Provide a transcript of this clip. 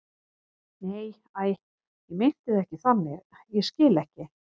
Nei, æi, ég meinti það ekki þannig, ég skil ekki.